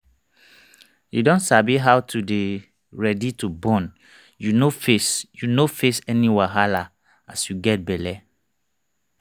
you don sabi how to dey ready to born you no face you no face any wahala as you get belle